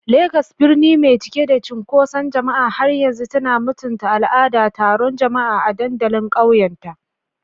Legas, birni mai cike da cunkoson jama'a, har yanzu tana mutunta al'adar taron jama'a a dandalin ƙauyenta.